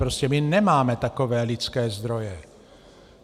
Prostě my nemáme takové lidské zdroje.